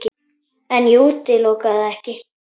En ég útiloka það ekki.